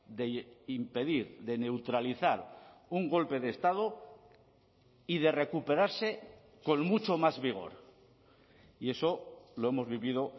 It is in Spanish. de impedir de neutralizar un golpe de estado y de recuperarse con mucho más vigor y eso lo hemos vivido